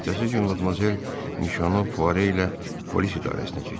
Ertəsi gün Madmazel Mişono Poire ilə polis idarəsinə getdi.